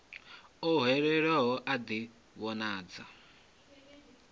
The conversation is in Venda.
o hwelelwaho a ḓi vhonadze